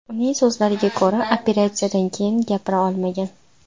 Uning so‘zlarida ko‘ra, operatsiyadan keyin gapira olmagan.